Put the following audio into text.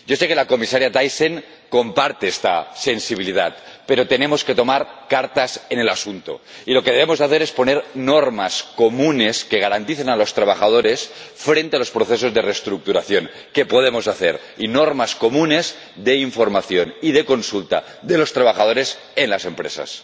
Yo sé que la Comisaria Thyssen comparte esta sensibilidad, pero tenemos que tomar cartas en el asunto, y lo que debemos hacer es poner normas comunes que protejan a los trabajadores frente a los procesos de reestructuración que podamos hacer y normas comunes de información y de consulta de los trabajadores en las empresas.